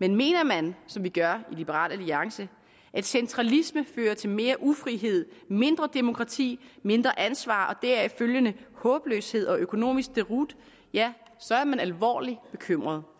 men mener man som vi gør i liberal alliance at centralisme fører til mere ufrihed mindre demokrati mindre ansvar og deraf følgende håbløshed og økonomisk deroute ja så er man alvorligt bekymret